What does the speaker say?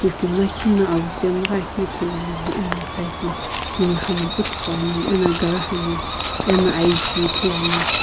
timi lakhi na avü pemghakeu ithuluani ena side la timi hami puthugho ani eno gari hami eno aiyi ki ithuluani.